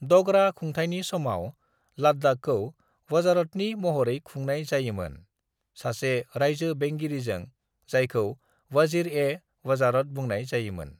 "डगरा खुंथायनि समाव लद्दाखखौ वज़ारतनि महरै खुंनाय जायोमोन, सासे रायजो बेंगिरिजों जायखौ वज़ीर-ए-वज़ारत बुंनाय जायोमोन"